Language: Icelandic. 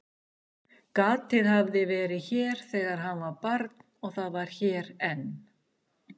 Gatið hafði verið hér þegar hann var barn og það var hér enn.